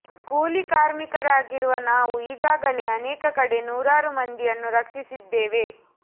ಕೂಲಿ ಕಾರ್ಮಿಕರಾಗಿರುವ ನಾವು ಈಗಾಗಲೆ ಅನೇಕ ಕಡೆ ನೂರಾರು ಮಂದಿಯನ್ನು ರಕ್ಷಿಸಿದ್ದೇವೆ